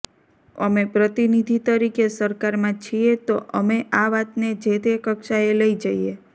અમે પ્રતિનિધિ તરીકે સરકારમાં છીએ તો અમે આ વાતને જે તે કક્ષાએ લઇ જઇએ